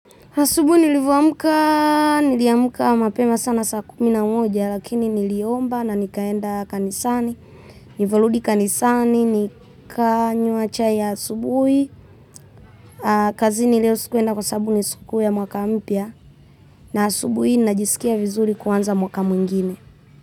Asubuhi nilivyoamka, niliamka mapema sana saa kumi na moja, lakini niliomba na nikaenda kanisani, nivyorudi kanisani, nikanywa chai ya asubuhi, kazini leo sikuenda kwa sababu ni sikukuu ya mwaka mpya, na asubuhi najisikia vizuri kuanza mwaka mwingine.